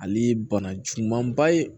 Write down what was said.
Ale ye bana jugumanba ye